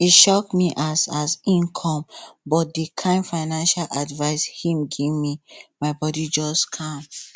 e shock me as as im come but the kind financial advice him gimme my bodi just calm